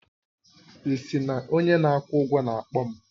Ị sị na onye na-akwụ ụgwọ na-akpọ m?